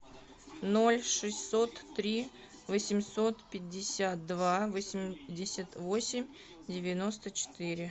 ноль шестьсот три восемьсот пятьдесят два восемьдесят восемь девяносто четыре